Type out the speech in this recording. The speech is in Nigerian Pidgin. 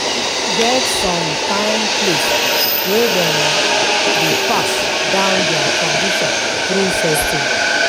E get som kain place wey dem dey pass down dia tradition thru festival